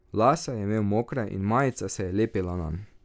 Lase je imel mokre in majica se je lepila nanj.